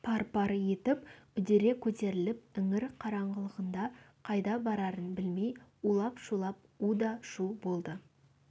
пар-пар етіп үдере көтеріліп іңір қараңғылығында қайда барарын білмей улап-шулап уда шу болды